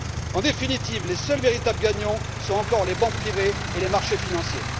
En définitive, les seuls véritables gagnants sont encore les banques privées et les marchés financiers.